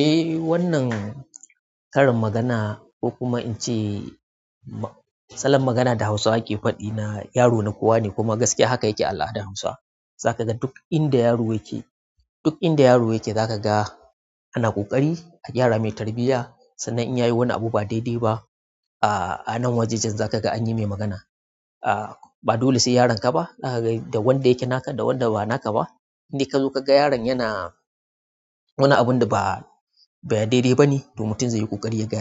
Eh wannan karin magana ko kuma in ce salon magana da Hausawa ke faɗi na yaro na kowa ne kuma gaskiya haka yake a al'adar Hausawa. Za ka ga duk inda yaro yake, duk inda yaro yake za ka ga ana ƙokarin a gyara mai tarbiyya, sannan inyayi wani abu da ba daidai ba, a anan wajejen zakaga anyimai magana. Ah ba dole sai yaronka ba, zakaga da wanda yake naka da wanda ba naka ba indai kazo kaga yaron yana wani abunda ba daidai bane, to mutum zaiyi ƙokarin yaga